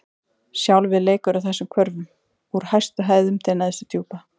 Sjálfið leikur á þessum hvörfum: úr hæstu hæðum til neðstu djúpa.